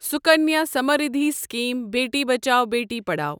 Sukanya Samriddhi scheme Beti Bachao Beti Padhao